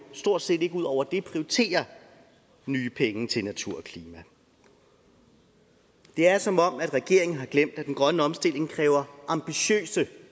stort set ikke ud over det prioriterer nye penge til natur og klima det er som om regeringen har glemt at den grønne omstilling kræver ambitiøse